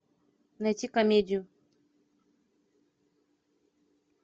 найти комедию